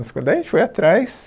Daí a gente foi atrás,